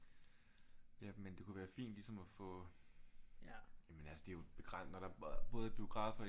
Ja men det kunne være fint ligesom at få men altså det er jo når der både er biografer i